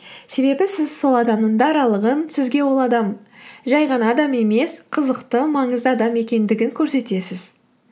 себебі сіз сол адамның даралығын сізге ол адам жай ғана адам емес қызықты маңызды адам екендігін көрсетесіз